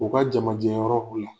U ka jamajɛyɔrɔ u la